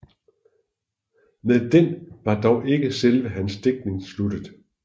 Med den var dog ikke selve hans digtning sluttet